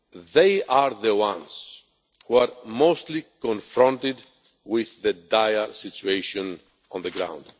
They are the ones who are most closely confronted with the dire situation on the ground.